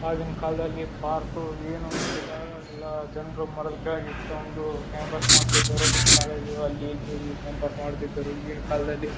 ಆವಗಿನ ಕಾಲದಲ್ಲಿ ಪಾರ್ಕ್ ಏನು ಇದ್ದಿಲ್ಲ ಎಲ್ಲ ಜನರ ಎಲ್ಲಾ ಜನರು ಮರದ ಕೆಳಗೆ ಕುತ್ಕೊಂಡು ಟೈಮಪಾಸ ಮಾಡತ್ತಿದ್ರುದ್ರು ಕಾಲೇಜು ಅಲ್ಲಿ ಇಲ್ಲಿ ಟೈಮಪಾಸ ಮಾಡ್ತಿದ್ರು ಈಗಿನ್ ಕಾಲದಲ್ಲಿ --